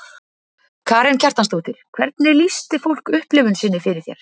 Karen Kjartansdóttir: Hvernig lýsti fólk upplifun sinni fyrir þér?